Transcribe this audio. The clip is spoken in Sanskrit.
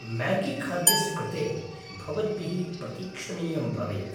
म्यागीखाद्यस्य कृते भवद्भिः प्रतीक्षणीयं भवेत्।